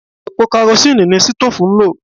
Epo karosíìnì ni sítóòfù ń lò